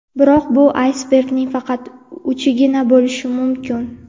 Biroq, bu aysbergning faqat uchigina bo‘lishi mumkin.